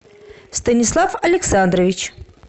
станислав александрович